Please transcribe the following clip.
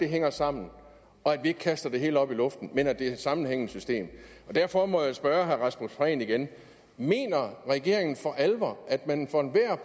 hænge sammen og at man ikke kaster det hele op i luften men at det et sammenhængende system derfor må jeg spørge herre rasmus prehn igen mener regeringen for alvor at man for enhver